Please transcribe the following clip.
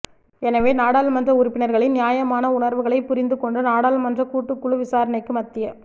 எனவே நாடாளுமன்ற உறுப்பினர்களின் நியாயமான உணர்வுகளைப் புரிந்து கொண்டு நாடாளுமன்ற கூட்டுக் குழு விசாரணைக்கு மத்திய